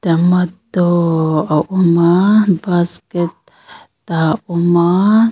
tomato a awm a basket ah a awma--